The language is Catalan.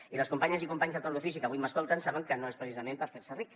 i les companyes i companys de torn d’ofici que avui m’escolten saben que no és precisament per fer se ric